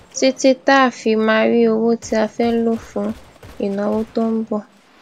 títí tá a fi máa rí owó tí a fẹ lò fún ìnáwó tó n bọ